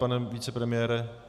Pane vicepremiére?